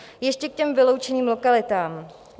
Ještě k těm vyloučeným lokalitám.